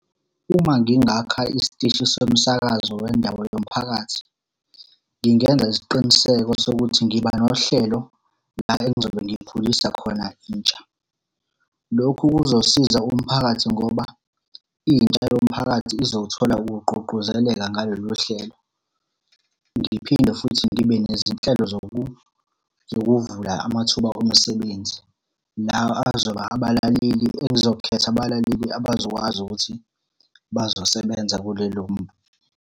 Uma ngingakha isiteshi somsakazo wendawo yomphakathi, ngingenza isiqiniseko sokuthi ngiba nohlelo la engizobe ngikhulisa khona intsha. Lokhu kuzosiza umphakathi ngoba intsha yomphakathi izothola ukugqugquzeleka ngalolu hlelo. Ngiphinde futhi ngibe nezinhlelo zokuvula amathuba omsebenzi, nawo azoba abalaleli elizokhetha abalaleli abazokwazi ukuthi bazosebenza kulelo.